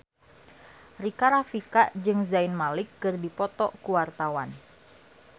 Rika Rafika jeung Zayn Malik keur dipoto ku wartawan